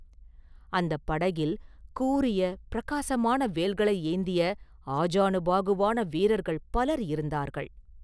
அந்தப் படகில் கூரிய பிரகாசமான வேல்களை ஏந்திய ஆஜானுபாகுவான வீரர்கள் பலர் இருந்தார்கள்.